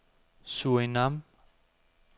Surinam